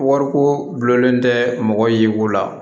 Wariko gulonlen tɛ mɔgɔ yiri ko la